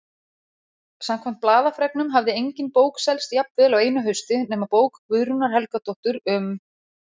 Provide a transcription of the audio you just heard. Samkvæmt blaðafregnum hafði engin bók selst jafnvel á einu hausti nema bók Guðrúnar Helgadóttur um